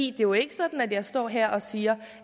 er jo ikke sådan at jeg står her og siger